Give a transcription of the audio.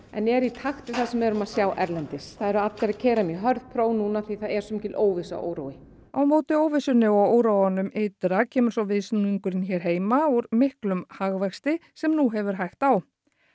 en er í takt við það sem við erum að sjá erlendis það eru allir að keyra mjög hörð próf núna því það er svo mikil óvissa og órói á móti óvissunni og óróanum ytra kemur svo viðsnúningurinn hér heima úr miklum hagvexti sem nú hefur hægt á